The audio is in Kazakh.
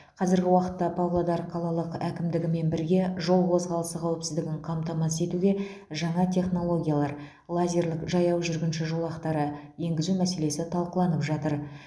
қазіргі уақытта павлодар қалалық әкімдігімен бірге жол қозғалысы қауіпсіздігін қамтамасыз етуде жаңа технологиялар лазерлік жаяу жүргінші жолақтары енгізу мәселесі талқыланып жатыр